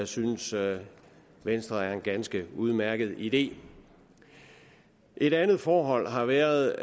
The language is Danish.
synes venstre er en ganske udmærket idé et andet forhold har været